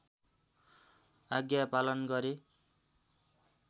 आज्ञा पालन गरे